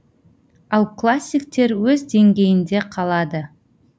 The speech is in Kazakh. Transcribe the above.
ал классиктер өз деңгейінде қалады